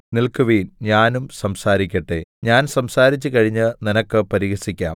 നില്‍ക്കുവിൻ ഞാനും സംസാരിക്കട്ടെ ഞാൻ സംസാരിച്ച് കഴിഞ്ഞ് നിനക്ക് പരിഹസിക്കാം